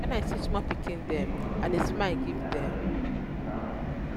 wen i see small pikin dem i dey smile give dem.